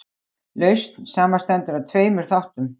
lausn samanstendur af tveimur þáttum